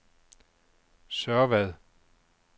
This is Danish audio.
Sørvad